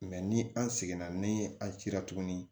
ni an seginna ni an cila tuguni